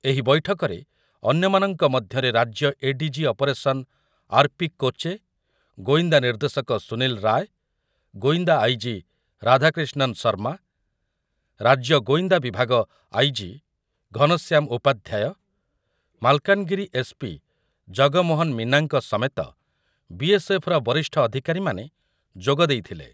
ଏହି ବୈଠକରେ ଅନ୍ୟମାନଙ୍କ ମଧ୍ୟରେ ରାଜ୍ୟ ADG. Operation R. P. Koche, ଗୋଇନ୍ଦା ନିର୍ଦ୍ଦେଶକ ସୁନିଲ ରାୟ, ଗୋଇନ୍ଦା ଆଇ.ଜି. ରାଧାକ୍ରିଷ୍ଣନ୍ ଶର୍ମା, ରାଜ୍ୟ ଗୋଇନ୍ଦା ବିଭାଗ IG. Ghanshyam Upadhyay, Malkangiri S. P. Jagmohan ମୀନାଙ୍କ ସମେତ ବି.ଏସ୍.ଏଫ୍.ର ବରିଷ୍ଠ ଅଧିକାରୀମାନେ ଯୋଗ ଦେଇଥିଲେ ।